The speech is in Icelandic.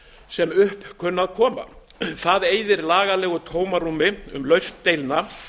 sem upp kunna að koma það eyðir lagalegu tómarúmi um lausn deilna